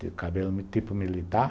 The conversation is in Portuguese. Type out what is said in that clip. Tinha cabelo tipo militar.